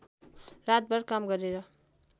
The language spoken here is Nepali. रातभर काम गरेर